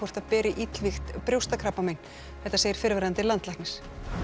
það beri illvígt brjóstakrabbagen þetta segir fyrrverandi landlæknir